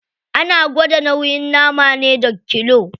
Ana gwada nauyin nama ne da kilo.